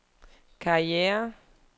karriere